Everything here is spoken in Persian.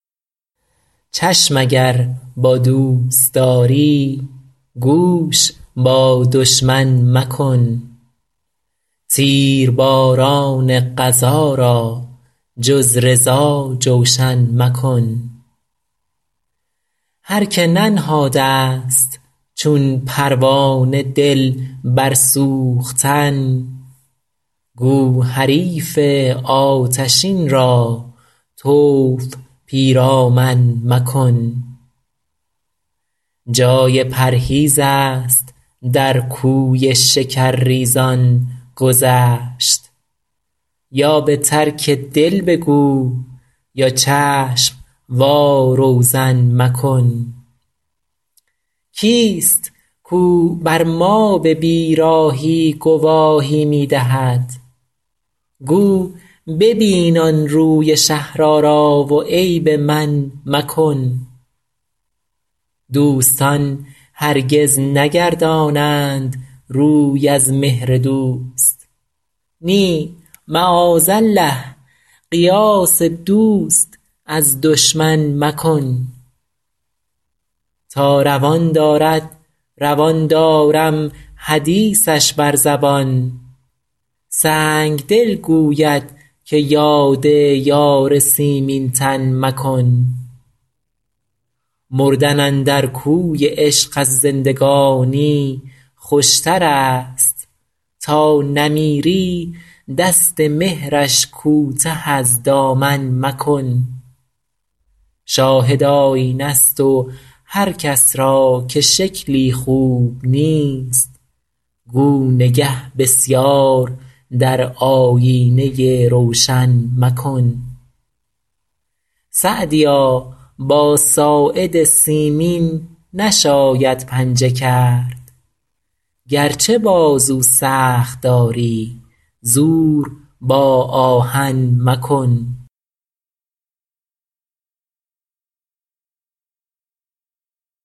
چشم اگر با دوست داری گوش با دشمن مکن تیرباران قضا را جز رضا جوشن مکن هر که ننهاده ست چون پروانه دل بر سوختن گو حریف آتشین را طوف پیرامن مکن جای پرهیز است در کوی شکرریزان گذشت یا به ترک دل بگو یا چشم وا روزن مکن کیست کاو بر ما به بیراهی گواهی می دهد گو ببین آن روی شهرآرا و عیب من مکن دوستان هرگز نگردانند روی از مهر دوست نی معاذالله قیاس دوست از دشمن مکن تا روان دارد روان دارم حدیثش بر زبان سنگدل گوید که یاد یار سیمین تن مکن مردن اندر کوی عشق از زندگانی خوشتر است تا نمیری دست مهرش کوته از دامن مکن شاهد آیینه ست و هر کس را که شکلی خوب نیست گو نگه بسیار در آیینه روشن مکن سعدیا با ساعد سیمین نشاید پنجه کرد گرچه بازو سخت داری زور با آهن مکن